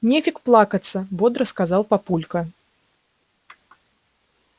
нефиг плакаться бодро сказал папулька